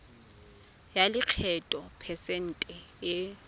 ya lekgetho phesente e